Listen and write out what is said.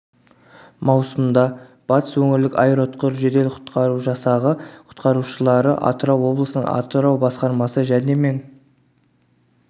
маусымда батыс өңірлік аэроұтқыр жедел-құтқару жасағы құтқарушылары атырау облысының атырау басқармасы және мен